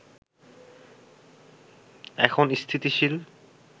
এখন স্থিতিশীল